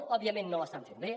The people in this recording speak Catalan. òbviament no l’està fent bé